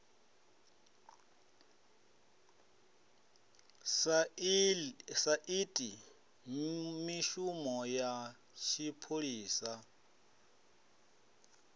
sa iti mishumo ya tshipholisa